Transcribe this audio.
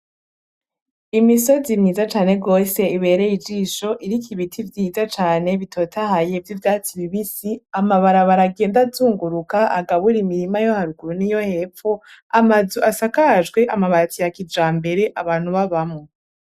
Imisozi myiza cane gose ibereye ijisho iriko ibiti vyiza cane bitotahaye vy' ivyatsi bibisi, amabarabara agenda azunguruka agabura imirima yo haruguru niyo hepfo amazu asakajwe amabati ya kijambere abantu babamwo.